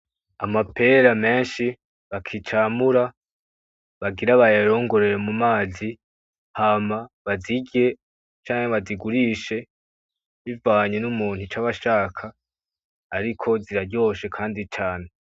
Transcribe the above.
Amapera menshi bakicamura bagira bayarongere mu mazi Hama bazirye canke bazigurishe bivanye n’umuntu icaba ashaka ariko ziraryoshe kandi cane.